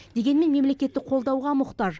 дегенмен мемлекеттік қолдауға мұқтаж